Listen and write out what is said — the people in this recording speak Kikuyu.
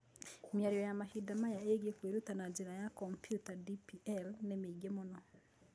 Mĩario ya mahinda maya ĩgiĩ kwĩruta na njĩra ya kompiuta (DPL) nĩ mĩingĩ mũno